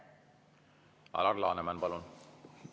Alar Laneman, palun!